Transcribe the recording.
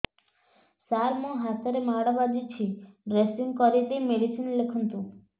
ସାର ମୋ ହାତରେ ମାଡ଼ ବାଜିଛି ଡ୍ରେସିଂ କରିଦେଇ ମେଡିସିନ ଲେଖନ୍ତୁ